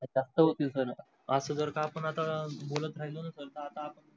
जास्त होतील sir अस जर का आपण आता बोलत राहीलोणा तर त आता आपण sir